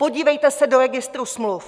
Podívejte se do registru smluv.